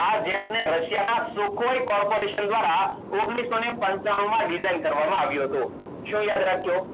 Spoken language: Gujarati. આ jet ને રશિયાના sukhoi corporation દ્વારા ઓગણીસો ને પંચાણું માં design કરવામાં આવ્યું હતું શું યાદ રાખ્યું